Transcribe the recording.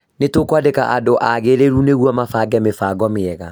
N1 tukwandĩka andũ agĩrĩru nĩguo mabange mĩbango mĩega